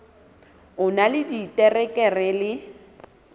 o na le diterekere le